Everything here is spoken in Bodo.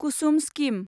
कुसुम स्किम